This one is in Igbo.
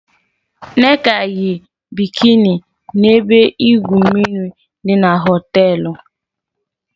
Nneka yi bikini na ebe igwu mmiri di na họteelu.